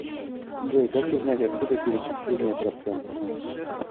джой как узнать откуда перечисления процентов